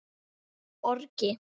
eða orgi.